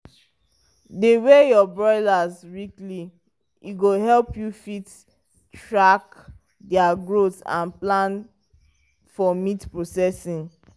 dey weigh your broilers weekly e go help you fit track their growth and plan for meat processing.